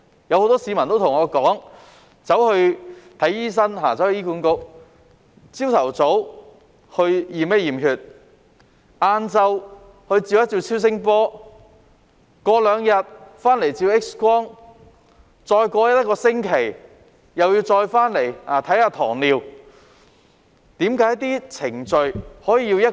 很多市民對我說，他們向醫管局的醫生求診，早上驗血，下午照超聲波，兩日後回去照 X 光，再過一星期後又回去為糖尿病求診。